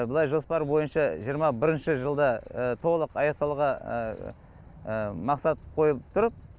былай жоспар бойынша жиырма бірінші жылда толық аяқталуға мақсат қойылып тұр